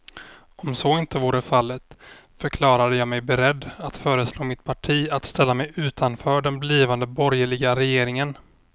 Om så inte vore fallet förklarade jag mig beredd att föreslå mitt parti att ställa sig utanför den blivande borgerliga regeringen.